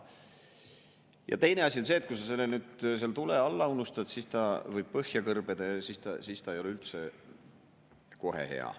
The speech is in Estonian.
Ja teine asi on see, et kui sa nüüd seal tule alla unustad, siis ta võib põhja kõrbeda ja siis ta ei ole kohe üldse hea.